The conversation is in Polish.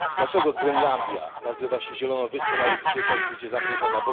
Dlaczego Grenlandia nazywa się zieloną wyspą, a jest dzisiaj całkowicie zamrożona?